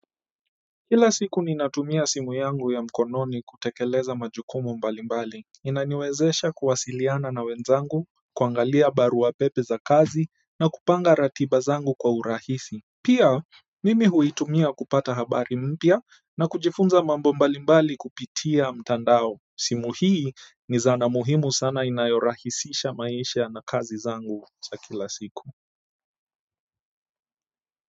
Kila siku ninatumia simu yangu ya mkononi kutekeleza majukumu mbalimbali. Inaniwezesha kuwasiliana na wenzangu kuangalia barua pepe za kazi na kupanga ratiba zangu kwa urahisi pia mimi huitumia kupata habari mpya na kujifunza mambo mbalimbali kupitia mtandao simu hii ni zana muhimu sana inayorahisisha maisha na kazi zangu za kila siku kwa hivyo.